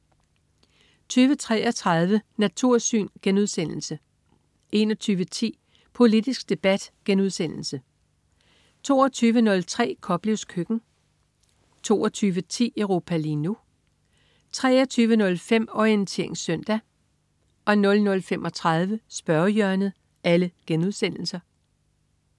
20.33 Natursyn* 21.10 Politisk debat* 22.03 Koplevs køkken* 22.10 Europa lige nu* 23.05 Orientering søndag* 00.35 Spørgehjørnet*